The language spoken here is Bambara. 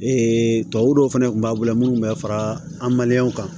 Ee tubabuw dɔw fana kun b'a bolo munnu bɛ fara an kan